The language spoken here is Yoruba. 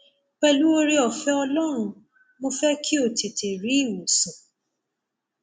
pẹlú ooreọfẹ ọlọrun mo fẹ kí o tètè rí ìwòsàn